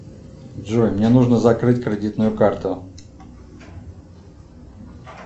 джой мне нужно закрыть кредитную карту